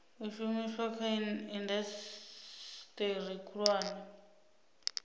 u shumiswa kha indasiteri khulwane